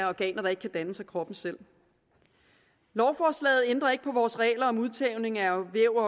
organer der ikke gendannes af kroppen selv lovforslaget ændrer ikke på vores regler om udtagning af væv